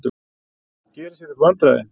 Gerir sér upp vandræði.